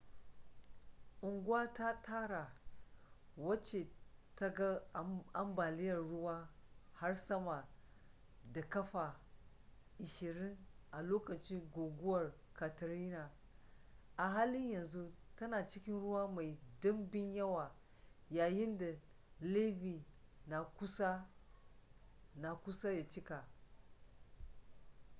unguwa ta tara wacce ta ga ambaliyar ruwa har sama da ƙafa 20 a lokacin guguwar katrina a halin yanzu tana cikin ruwa mai ɗumbin yawa yayin da levee na kusa ya cika